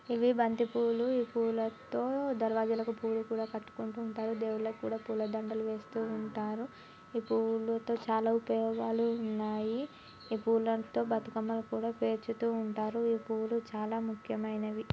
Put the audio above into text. ఇవి బంతి పూలు ఈ పూలతో దండలు కట్టుకుంటూ ఉంటారు దేవులకి కూడా పూల దండలు వేస్తూ ఉంటారు ఈ పూలతో చాలా ఉపయోగాలు ఉన్నాయి ఈ పూలతో బతుకమ్మని కూడా పేర్చుతు ఉంటారు ఈ పూలు చాలా ముఖ్యమైనవి.